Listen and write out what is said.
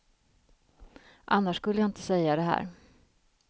Annars skulle jag inte säga det här.